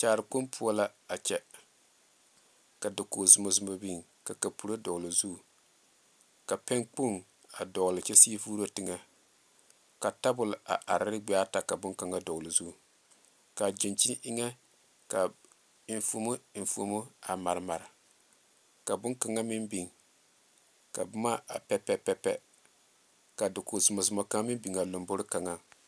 Kyaara kpoŋ poɔ la a kyɛ ka dakogi zɔmazɔma biŋ ka kapuro dɔgle o zu ka pɛŋ kpoŋ a dogle kyɛ sige vuuro teŋa ka tabol a are ne gbaɛ ata ka bon kaŋa dogle o zu kaa gyankyini eŋa ka enfuumo enfuumo a mare mare ka bon kaŋa meŋ biŋ ka boma a pɛ pɛ pɛ ka dakogi zɔmazɔma kaŋa meŋ biŋa a lanbore kaŋa.